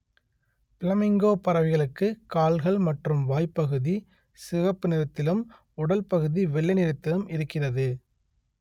flamingo பறவைகளுக்கு கால்கள் மற்றும் வாய்‌ப்பகுதி சிவப்பு நிறத்திலும் உடல் பகுதி வெள்ளை நிறத்திலும் இருக்கிறது